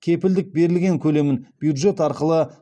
кепілдік берілген көлемін бюджет арқылы